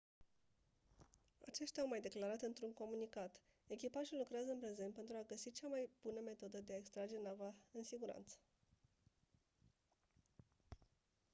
aceștia au mai declarat într-un comunicat: «echipajul lucrează în prezent pentru a găsi cea mai bună metodă de a extrage nava în siguranță».